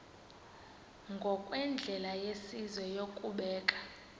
ngokwendlela yesizwe yokubeka